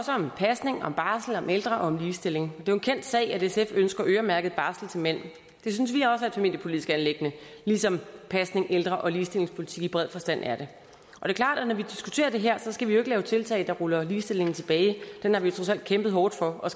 om pasning om barsel om ældre og om ligestilling det er jo en kendt sag at sf ønsker øremærket barsel til mænd det synes vi også er et familiepolitisk anliggende ligesom pasning ældre og ligestillingspolitik i bred forstand er det og det her skal vi ikke lave tiltag der ruller ligestillingen tilbage den har vi trods alt kæmpet hårdt for og